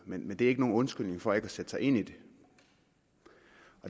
men det er ikke nogen undskyldning for ikke at sætte sig ind i det